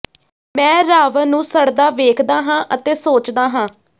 ਮੈਂ ਰਾਵਣ ਨੂੰ ਸੜਦਾ ਵੇਖਦਾ ਹਾਂ ਅਤੇ ਸੋਚਦਾ ਹਾਂ